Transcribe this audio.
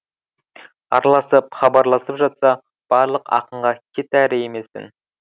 араласып хабарласып жатса барлық ақынға кет әрі емеспін